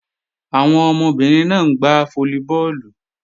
Àwọn ọmọbìnrin náà ń gbá fólíbọọ̀lù